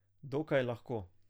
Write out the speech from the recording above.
Dokaj lahko.